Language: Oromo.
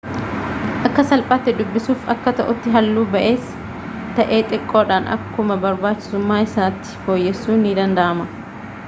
akka salphaatti dubbisuuf akka ta'utti halluu baay'ees ta'e xiqqoodhaan akkuma barbaachisummaa isaatti fooyyessuun ni danda'ama